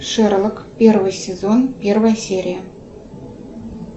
шерлок первый сезон первая серия